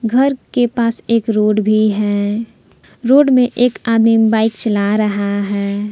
घर के पास एक रोड भी है रोड में एक आदमी बाइक चला रहा है।